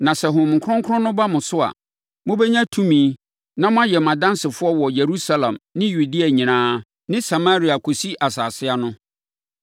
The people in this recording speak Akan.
Na sɛ Honhom Kronkron no ba mo so a, mobɛnya tumi na moayɛ mʼadansefoɔ wɔ Yerusalem ne Yudea nyinaa ne Samaria kɔsi asase ano.”